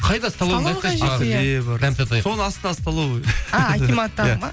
соның астында столовый а акиматтағы ма